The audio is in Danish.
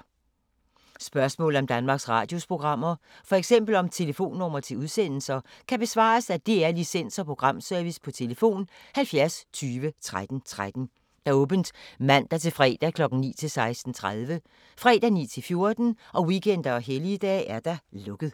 Spørgsmål om Danmarks Radios programmer, f.eks. om telefonnumre til udsendelser, kan besvares af DR Licens- og Programservice: tlf. 70 20 13 13, åbent mandag-torsdag 9.00-16.30, fredag 9.00-14.00, weekender og helligdage: lukket.